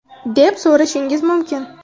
deb so‘rashingiz mumkin.